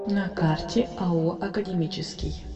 на карте ао академический